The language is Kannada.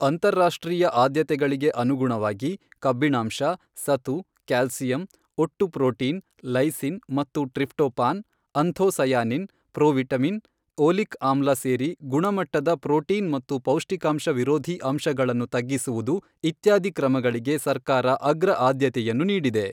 ಅಂತಾರಾಷ್ಟ್ರೀಯ ಆದ್ಯತೆಗಳಿಗೆ ಅನುಗುಣವಾಗಿ, ಕಬ್ಬಿಣಾಂಶ, ಸತು, ಕ್ಯಾಲ್ಸಿಯಂ, ಒಟ್ಟು ಪ್ರೊಟೀನ್, ಲೈಸಿನ್ ಮತ್ತು ಟ್ರಿಫ್ಟೊಪಾನ್, ಅಂಥೋಸಯಾನಿನ್, ಪ್ರೊವಿಟಮಿನ್, ಓಲಿಕ್ ಆಮ್ಲ ಸೇರಿ ಗುಣಮಟ್ಟದ ಪ್ರೊಟೀನ್ ಮತ್ತು ಪೌಷ್ಟಿಕಾಂಶ ವಿರೋಧಿ ಅಂಶಗಳನ್ನು ತಗ್ಗಿಸುವುದು ಇತ್ಯಾದಿ ಕ್ರಮಗಳಿಗೆ ಸರ್ಕಾರ ಅಗ್ರ ಆದ್ಯತೆಯನ್ನು ನೀಡಿದೆ.